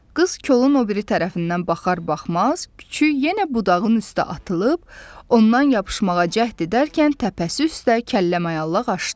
Qız kolun o biri tərəfindən baxar-baxmaz, küçüy yenə budağın üstə atılıb, ondan yapışmağa cəhd edərkən təpəsi üstə kəllə-mayalaq aşdı.